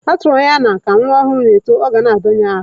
A tụrụ anya na ka nwa ọhụrụ na-eto, na ọ ga na-adọnye ahụ.